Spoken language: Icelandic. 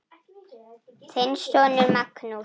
Þinn sonur Magnús.